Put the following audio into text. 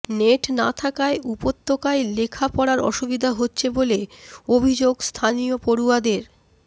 net না থাকায় উপত্যকায় লেখা পড়ার অসুবিধা হচ্ছে বলে অভিযোগ স্থানীয় পড়ুয়াদের